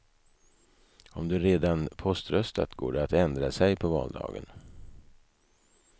Om du redan poströstat går det att ändra sig på valdagen.